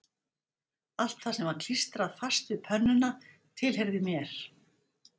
Allt það sem var klístrað fast við pönnuna tilheyrði mér